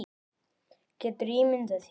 Geturðu ímyndað þér.